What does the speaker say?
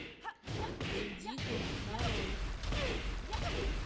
вендиго нарой